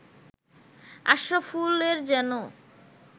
আশরাফুলের যেন